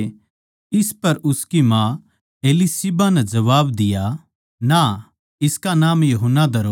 इस पर उसकी माँ एलीशिबा नै जबाब दिया ना इसका नाम यूहन्ना धरो